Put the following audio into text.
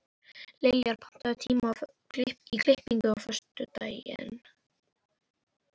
Liljar, pantaðu tíma í klippingu á föstudaginn.